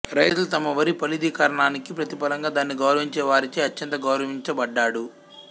రైతులు తమ వరి ఫలదీకరణానికి ప్రతిఫలంగా దానిని గౌరవించే వారిచే అత్యంత గౌరవించబడ్డాడు